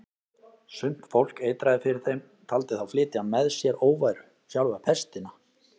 Sumt fólk eitraði fyrir þeim, taldi þá flytja með sér óværu, sjálfa pestina.